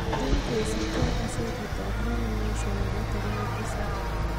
eng kosub kee ak kasetit anb daily nation nebo tarik tisap